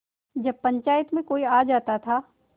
जब पंचायत में कोई आ जाता था